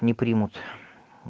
не примут